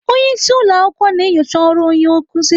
Onye isi ụlọ akwụkwọ na-enyocha ọrụ onye nkuzi.